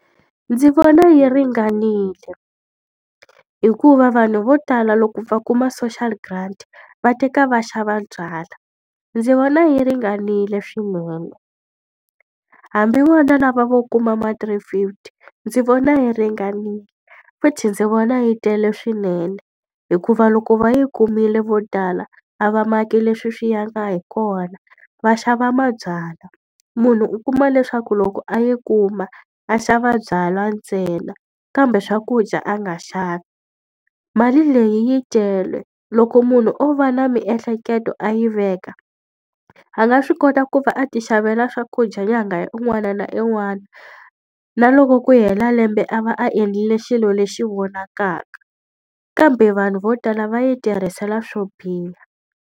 Ndzi vona yi ringanile. Hikuva vanhu vo tala loko va kuma social grant va teka va xava byalwa. Ndzi vona yi ringanile swinene. Hambi vona lava vo kuma ma three fifty, ndzi vona yi ringanile, futhi ndzi vona yi tele swinene. Hikuva loko va yi kumile vo tala a va maki leswi swi yaka hi kona, va xava mabyalwa. Munhu u kuma leswaku loko a yi kuma a xava byalwa ntsena, kambe swakudya a nga xavi. Mali leyi yi tele, loko munhu o va na miehleketo a yi veka, a nga swi kota ku va a tixavela swakudya nyanga ya un'wana na un'wana. Na loko ku hela lembe a va a endlile xilo lexi vonakaka. Kambe vanhu vo tala va yi tirhisela swo biha.